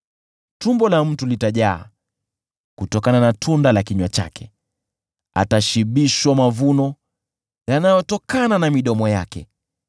Tumbo la mtu litajaa kutokana na tunda la kinywa chake, atashibishwa mavuno yanayotokana na midomo yake.